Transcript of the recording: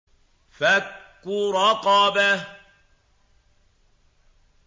فَكُّ رَقَبَةٍ